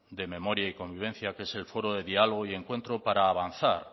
de memoria y convivencia que es el foro de diálogo y encuentro para avanzar